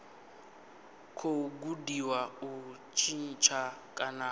khou gudiwa u tshintsha kana